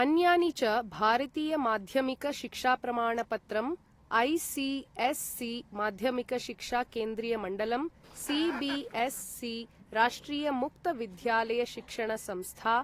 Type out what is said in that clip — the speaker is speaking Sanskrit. अन्यानि च, भारतीय माध्यमिक शिक्षाप्रमाण पत्रम् ऐ. सी.एस्.सी. ,माध्यमिक शिक्षा केन्द्रीय मण्डलम् सी. बी.एस्.सी. ,राष्ट्रिय मुक्त विद्यालय शिक्षण संस्था